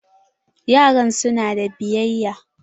Yaran su na da biyayya.